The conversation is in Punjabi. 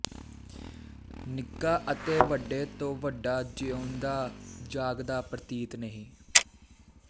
ਨਿੱਕਾ ਅਤੇ ਵੱਡੇ ਤੋਂ ਵੱਡਾ ਜਿਉਂਦਾ ਜਾਗਦਾ ਪ੍ਰਤੀਤ ਨਹੀਂ